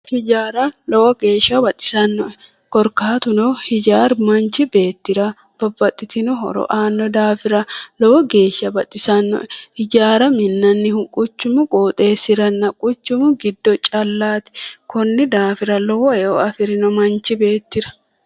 Ijaara lowo geeshsha baxisannoe korkaatuno hijaaru manchi beettira horo aanno daafira lowo geeshsha baxisannoe hijaara minnannihu quchumu qooxeessiranna quchumu giddo callaati konni daafira lowo eo afirino manchi beettira.